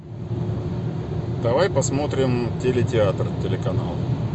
давай посмотрим телетеатр телеканал